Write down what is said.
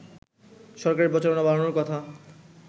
সরকারের প্রচারণা বাড়ানোর কথা